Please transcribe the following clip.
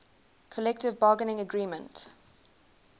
collective bargaining agreement